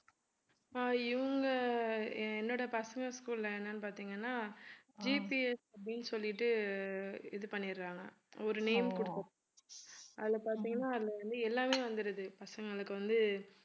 ஆஹ் இவங்க அஹ் என்னுடைய பசங்க school ல என்னென்னு பார்த்தீங்கன்னா GPS அப்படின்னு சொல்லிட்டு இது பண்ணிடறாங்க. ஒரு name அதுல பாத்தீங்கன்னா அதுல வந்து எல்லாமே வந்துருது பசங்களுக்கு வந்து